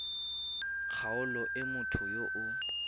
kgaolong e motho yo o